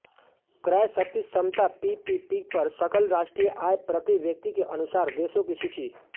क्रय शक्ति समता पीपीपी पर सकल राष्ट्रीय आय प्रति व्यक्ति के अनुसार देशों की सूची